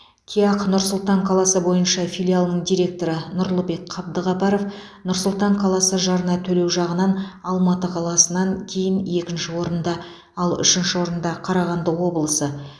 кеақ нұр сұлтан қаласы бойынша филиалының директоры нұрлыбек қабдықапаров нұр сұлтан қаласы жарна төлеу жағынан алматы қаласынан кейін екінші орында ал үшінші орында қарағанды облысы